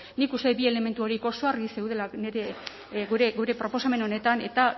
nik uste dut bi elementu horiek oso argi zeudela gure proposamen honetan eta